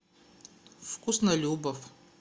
вкуснолюбов